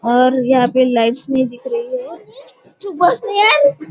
और यहाँ पे लाइट्स नही दिख रही है चूप बस ना यार --